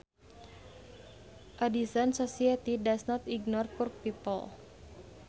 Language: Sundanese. A decent society does not ignore poor people